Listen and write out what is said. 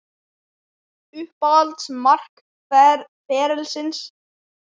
Uppáhalds mark ferilsins?